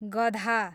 गधा